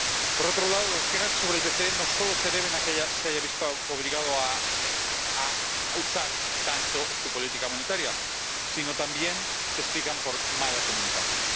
Por otro lado, las quejas sobre el BCE no solo se deben a que ya se haya visto obligado a usar tanto su política monetaria, sino también se explican por mala comunicación.